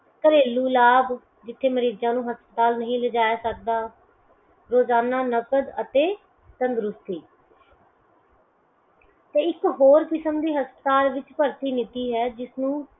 ਘਰੇਲੂ ਲਾਭ ਜਿਥੇ ਮਰੀਜ਼ਾ ਨੂੰ ਹਸਪਤਾਲ ਨਹੀਂ ਲਿਜਾਇਆ ਜਾ ਸਕਦਾ ਰੋਜ਼ਾਨਾ ਨਕਦ ਅਤੇ ਸੰਗਰੂਪੀ sir ਇੱਕ ਹੋਰ ਕਿਸਮ ਦੀ ਹਸਪਤਾਲ ਵਿੱਚ ਭਰਤੀ ਨੀਤੀ ਹੈ ਜਿਸਨੂੰ